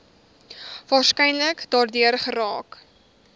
waarskynlik daardeur geraak